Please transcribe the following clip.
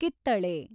ಕಿತ್ತಳೆ